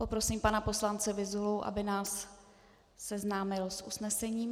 Poprosím pana poslance Vyzulu, aby nás seznámil s usnesením.